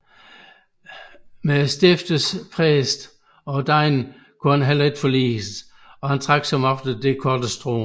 Med stiftets præster og degne kunne han heller ikke forliges og trak som oftest det korteste strå